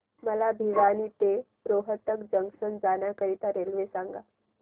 मला भिवानी ते रोहतक जंक्शन जाण्या करीता रेल्वे सांगा